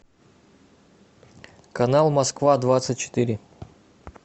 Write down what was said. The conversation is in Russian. канал москва двадцать четыре